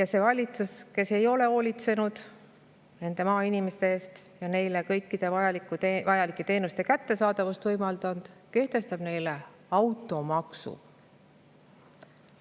ja see valitsus, kes ei ole hoolitsenud maainimeste eest ega ole neile kõikide vajalike teenuste kättesaadavust võimaldanud, kehtestab neile automaksu.